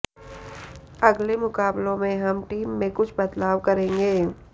अगले मुकाबलों में हम टीम में कुछ बदलाव करेंगे